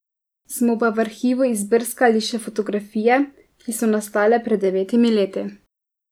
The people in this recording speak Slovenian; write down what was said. Smo pa v arhivu izbrskali še fotografije, ki so nastale pred devetimi leti.